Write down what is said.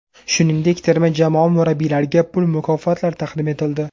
Shuningdek, terma jamoa murabbiylariga pul mukofotlari taqdim etildi.